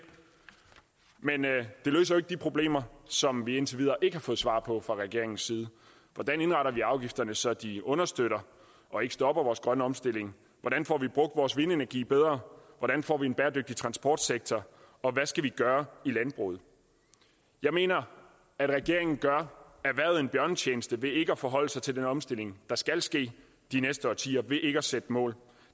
men det løser jo ikke de problemer som vi indtil videre ikke har fået svar på fra regeringens side hvordan indretter vi afgifterne så de understøtter og ikke stopper vores grønne omstilling hvordan får vi brugt vores vindenergi bedre hvordan får vi en bæredygtig transportsektor og hvad skal vi gøre i landbruget jeg mener at regeringen gør erhvervet en bjørnetjeneste ved ikke at forholde sig til den omstilling der skal ske de næste årtier ved ikke at sætte mål